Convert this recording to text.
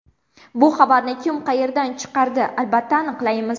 Bu xabarni kim qayerdan chiqardi albatta aniqlaymiz.